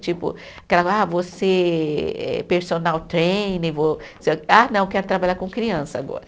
Tipo, aquela, ah, vou ser eh personal trainer, vou ser. Ah, não, quero trabalhar com criança agora.